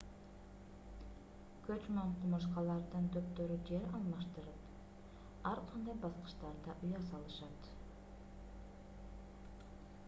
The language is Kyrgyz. көчмөн кумурскалардын топтору жер алмаштырып ар кандай баскычтарда уя салышат